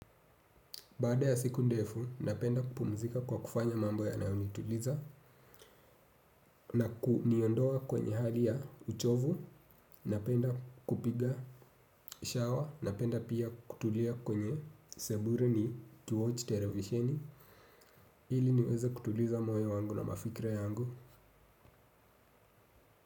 Baada ya siku ndefu, napenda kupumzika kwa kufanya mambo yanayonituliza na kuniondoa kwenye hali ya uchovu. Napenda kupiga shawa. Napenda pia kutulia kwenye seburu ni kiwatch televisheni ili niweze kutuliza moyo wangu na mafikra yangu.